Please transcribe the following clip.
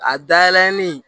A dayɛlɛlen